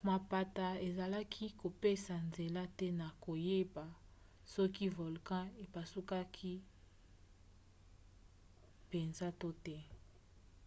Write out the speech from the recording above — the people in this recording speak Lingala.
mapata ezalaki kopesa nzela te na koyeba soki volkan epasukaki mpenza to te